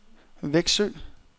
Växjö